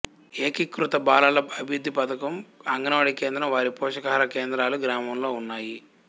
ఏకీకృత బాలల అభివృద్ధి పథకం అంగన్ వాడీ కేంద్రం వారి పోషకాహార కేంద్రాలు గ్రామంలో ఉన్నాయి